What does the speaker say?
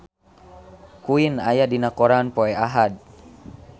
Queen aya dina koran poe Ahad